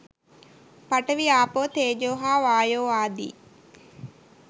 පඨවි ආපෝ තේජෝ හා වායෝ ආදී